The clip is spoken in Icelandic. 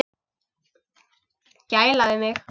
Gæla við mig.